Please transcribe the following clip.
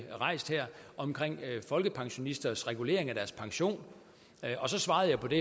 om folkepensionisters regulering af deres pension og så svarede jeg på det